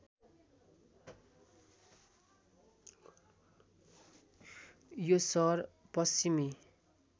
यो सहर पश्चिमी